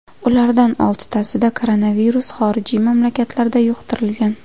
Ulardan oltitasida koronavirus xorijiy mamlakatlarda yuqtirilgan.